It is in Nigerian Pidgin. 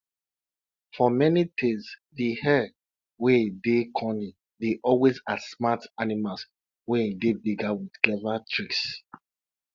for many tales de hare wey dey cunning dey always outsmart animals wey dey bigger wit clever tricks